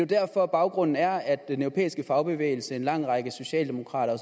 derfor at baggrunden er at den europæiske fagbevægelse en lang række socialdemokrater